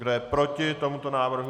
Kdo je proti tomuto návrhu?